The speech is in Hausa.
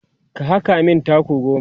ka haka min taku goma!